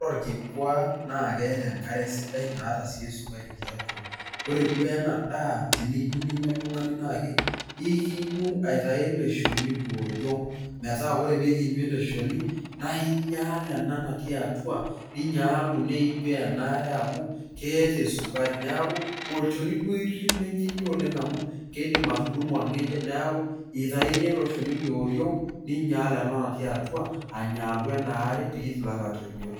Ore olkikua naa keata enkare sidai naata sii esukari tiatua. Ore duo ena daa teneyieu ninya oltung'ani naa ke ikinyu aitai ele shoni le oriong, metaa ore pikinyu ele shoni naa inyaal ena natii atua, ninyaalu niijoo ena are amu keata esukari neaku olchoni duo irip pee minya oleng amu kiindim atudung'o olng'ejep neaku eitaini ele shoni le oriong' ninyaal ena natii atua anyaalu ena are pee itumoki atoijoi.